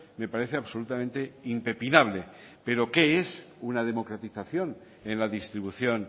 me parece absolutamente impepinable pero qué es una democratización en la distribución